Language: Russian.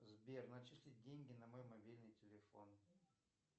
сбер начислить деньги на мой мобильный телефон